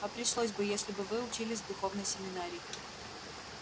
а пришлось бы если бы вы учились в духовной семинарии